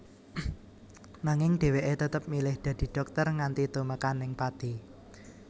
Nanging dheweke tetep milih dadi dhokter nganti tumekaning pati